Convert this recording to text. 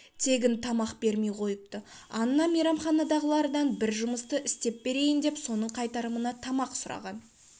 тегін тамақ бермей қойыпты анна мейрамханадағылардан бір жұмысты істеп берейін деп соның қайтарымына тамақ сұраған